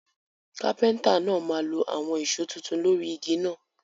Kápẹ́ńtà náà máa lo àwon ìso tuntun lórí igi náà